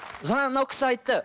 жаңа мынау кісі айтты